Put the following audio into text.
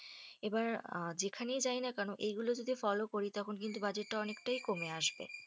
এবার যেখানেই যাই না কেন এই গুলো যদি follow করি তখন কিন্তু budget অনেকটাই কমে আসবে।